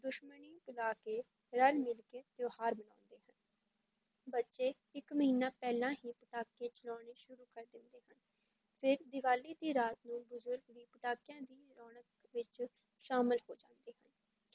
ਦੁਸ਼ਮਣੀ ਭੁਲਾ ਕੇ ਰਲ-ਮਿਲ ਕੇ ਤਿਉਹਾਰ ਮਨਾਉਂਦੇ ਹਨ, ਬੱਚੇ ਇੱਕ ਮਹੀਨਾ ਪਹਿਲਾਂ ਹੀ ਪਟਾਕੇ ਚਲਾਉਣੇ ਸ਼ੁਰੂ ਕਰ ਦਿੰਦੇ ਹਨ, ਫਿਰ ਦੀਵਾਲੀ ਦੀ ਰਾਤ ਨੂੰ ਬਜ਼ੁਰਗ ਵੀ ਪਟਾਕਿਆਂ ਦੀ ਰੌਣਕ ਵਿੱਚ ਸ਼ਾਮਲ ਹੋ ਜਾਂਦੇ ਹਨ।